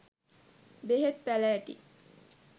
බෙහෙත් පැළෑටි